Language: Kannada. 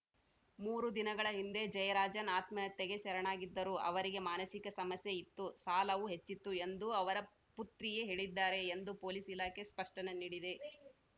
ಮೂರು ದಿನಗಳ ಹಿಂದೆ ಜಯರಾಜನ್‌ ಆತ್ಮಹತ್ಯೆಗೆ ಶರಣಾಗಿದ್ದರು ಅವರಿಗೆ ಮಾನಸಿಕ ಸಮಸ್ಯೆ ಇತ್ತು ಸಾಲವೂ ಹೆಚ್ಚಿತ್ತು ಎಂದು ಅವರ ಪುತ್ರಿಯೇ ಹೇಳಿದ್ದಾರೆ ಎಂದು ಪೊಲೀಸ್‌ ಇಲಾಖೆ ಸ್ಪಷ್ಟನೆ ನೀಡಿದೆ